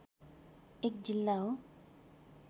एक जिल्ला हो